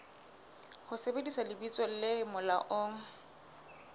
ho sebedisa lebitso le molaong